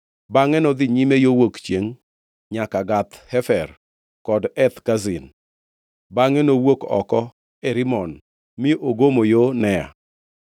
Bangʼe nodhi nyime gi yo wuok chiengʼ nyaka Gath Hefer kod Eth Kazin; bangʼe nowuok oko e Rimon mi ogomo yo Nea.